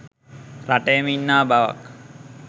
රටේම ඉන්නා බවක්